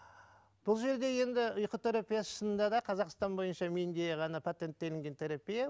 бұл жерде енді ұйқы терапиясы шынында да қазақстан бойынша менде ғана патенттелінген терапия